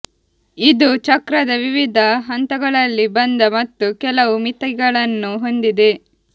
ಇದು ಚಕ್ರದ ವಿವಿಧ ಹಂತಗಳಲ್ಲಿ ಬಂದ ಮತ್ತು ಕೆಲವು ಮಿತಿಗಳನ್ನು ಹೊಂದಿದೆ